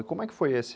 E como é que foi esse?